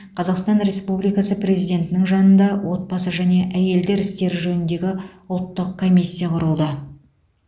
қазақстан республикасы президентінің жанында отбасы және әйелдер істері жөніндегі ұлттық комиссия құрылды